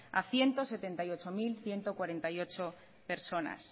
a ciento setenta y ocho mil ciento cuarenta y ocho personas